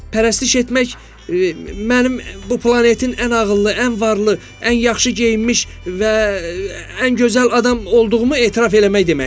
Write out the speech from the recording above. Pərəstiş etmək, mənim bu planetin ən ağıllı, ən varlı, ən yaxşı geyinmiş və ən gözəl adam olduğumu etiraf eləmək deməkdir.